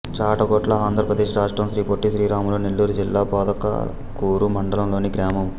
చాటగొట్ల ఆంధ్ర ప్రదేశ్ రాష్ట్రం శ్రీ పొట్టి శ్రీరాములు నెల్లూరు జిల్లా పొదలకూరు మండలం లోని గ్రామం